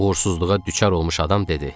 Uğursuzluğa düçar olmuş adam dedi.